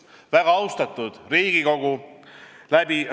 Väga austatud Riigikogu!